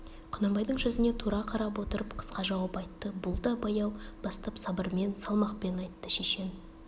құнанбайдың жүзіне тура қарап отырып қысқа жауап айтты бұл да баяу бастап сабырмен салмақпен айтты шешен